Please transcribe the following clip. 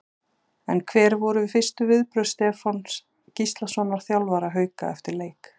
En hver voru fyrstu viðbrögð Stefáns Gíslasonar þjálfara Hauka eftir leik?